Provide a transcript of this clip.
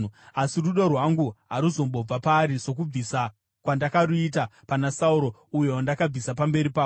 Asi rudo rwangu haruzombobva paari, sokubvisa kwandakaruita pana Sauro, uyo wandakabvisa pamberi pako.